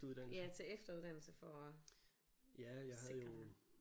Ja tage efteruddannelse for at sikre dig